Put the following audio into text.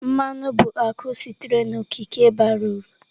Mmanụ bụ akụ sitere n'okike bara uru.